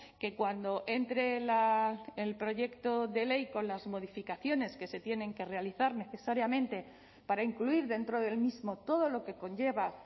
que cuando entre el proyecto de ley con las modificaciones que se tienen que realizar necesariamente para incluir dentro del mismo todo lo que conlleva